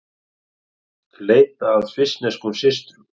Leita að svissneskum systrum